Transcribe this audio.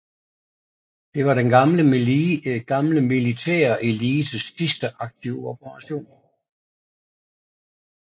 Det var den gamle militære elites sidste aktive operation